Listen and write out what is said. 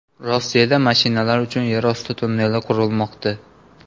Rossiyada mashinalar uchun yerosti tunneli qurilmoqda.